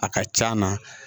A ka c'an na